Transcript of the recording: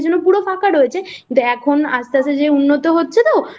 ফাঁকা রয়েছে কিন্তু এখন আস্তে আস্তে যে উন্নত হচ্ছে তো